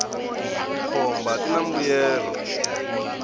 tikhomba tina mbuyelo